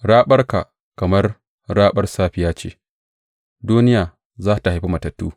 Raɓarka kamar raɓar safiya ce; duniya za tă haifi matattunta.